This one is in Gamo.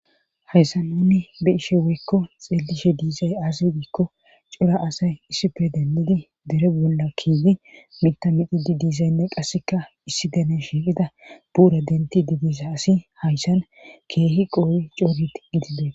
hayssa nuni be ishe woykko xeelishe diizay aasidiikko cora asay issife dennidi dere bolla kiidi mita midhi di dizaynne qasseka issi dene shiiqida buura denti didisa asi hayssan keehi qoowi coorit gidibee